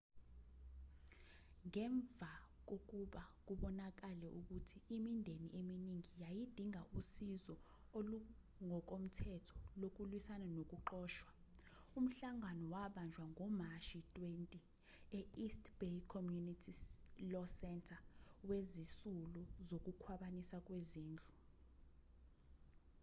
ngemva kokuba kubonakale ukuthi imindeni eminingi yayidinga usizo olungokomthetho lokulwisana nokuxoshwa umhlangano wabanjwa ngomashi 20 e-east bay community law center wezisulu zokukhwabanisa kwezindlu